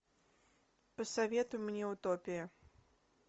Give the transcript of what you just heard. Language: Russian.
посоветуй мне утопия